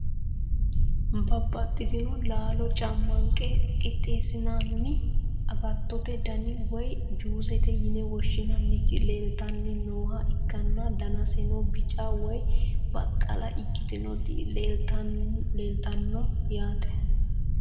babbaxitino laalo cammanqe qixxeessinanni agattote dani woyi juusete yine woshshinanniti leeltanni nooha ikkanna, danaseno bica woy baqqala ikkitinoti leeltanno yaate.